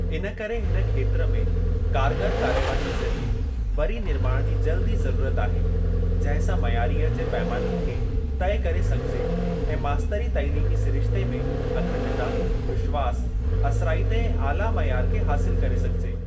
इनकरे हिन खेत्र में कारगर कार्यवाहीअ ज़रीए वरी निर्माण जी जल्दु ई ज़रूरत आहे, जंहिं सां मइयारीअ जे पैमाननि खे तइ करे सघिजे ऐं मास्तरी तालीमी सिरिश्ते में अखंडता, विश्वास, असराइते ऐं आला मइयार खे हासिल करे सघिजे।